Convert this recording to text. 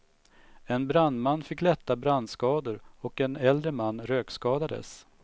En brandman fick lätta brandskador och en äldre man rökskadades.